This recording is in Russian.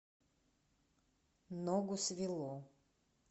ногу свело